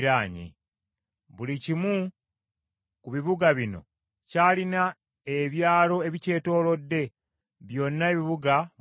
Buli kimu ku bibuga bino kyalina ebyalo ebikyetoolodde; byonna ebibuga bwe byali.